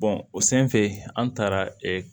o senfɛ an taara